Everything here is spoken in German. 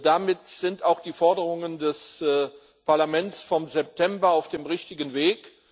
Damit sind auch die Forderungen des Parlaments vom September auf dem richtigen Weg.